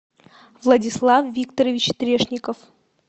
владислав викторович трешников